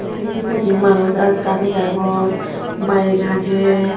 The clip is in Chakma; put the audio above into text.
Sei toledi manuch aat darey agon bike agey.